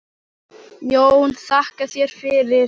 JÓN: Þakka þér fyrir!